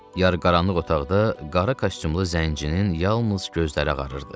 Yarıqaranlıq otaqda qara kostyumlu zənginin yalnız gözləri ağarırdı.